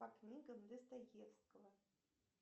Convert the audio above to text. по книгам достоевского